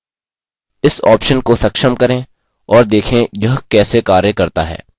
इस option को सक्षम करें और देखें यह कैसे कार्य करता है